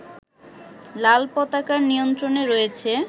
লালপতাকার নিয়ন্ত্রণে রয়েছে